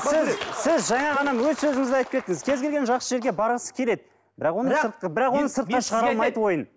сіз сіз жаңа ғана өз сөзіңізде айтып кеттіңіз кез келген жақсы жерге барғысы келеді бірақ оны сыртқа бірақ оны сыртқа шығара алмайды ойын